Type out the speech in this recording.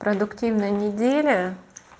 продуктивная неделя